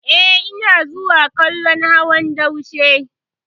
Eh, ina zuwa kallon hawan daushe.